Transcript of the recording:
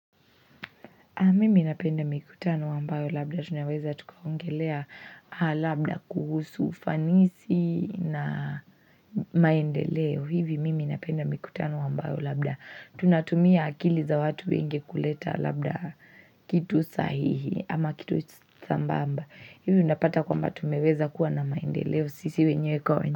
Mimi napenda mikutano ambayo labda tunaweza tukaongelea labda kuhusu, ufanisi na maendeleo. Vivi mimi napenda mikutano ambayo labda. Tunatumia akili za watu wengi kuleta labda kitu sahihi ama kitu sambamba. Hivo napata kwa mba tumeweza kuwa na maendeleo. Sisi wenye kwa wenye.